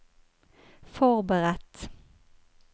forberedt